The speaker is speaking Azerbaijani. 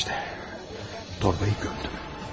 İşte, torbayı gömdüm.